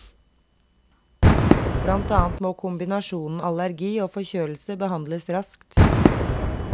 Blant annet må kombinasjonen allergi og forkjølelse behandles raskt.